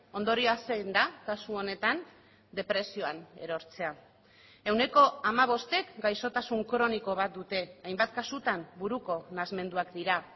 ondorioa zein da kasu honetan depresioan erortzea ehuneko hamabostek gaixotasun kroniko bat dute hainbat kasutan buruko nahasmenduak dira